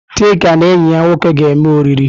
Chika na enyi ya nwoke ga-eme oriri.